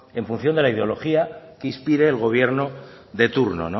en función de la ideología que inspire el gobierno de turno